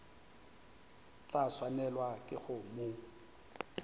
tla swanelwa ke go mo